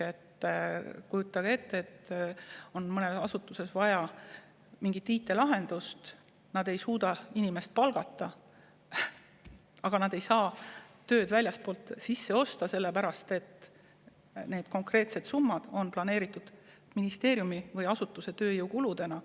Kujutage näiteks ette, et mõnes asutuses on vaja mingit IT‑lahendust, ei suudeta selle tegemiseks uut inimest palgata, aga ei saa seda tööd ka väljastpoolt sisse osta, sellepärast et konkreetsed summad on planeeritud ministeeriumi või asutuse tööjõukuludeks.